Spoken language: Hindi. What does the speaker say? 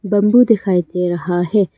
बंबू दिखाई दे रहा है।